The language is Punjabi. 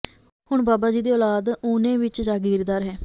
ਹੁਣ ਬਾਬਾ ਜੀ ਦੀ ਔਲਾਦ ਊਨੇ ਵਿੱਚ ਜਾਗੀਰਦਾਰ ਹੈ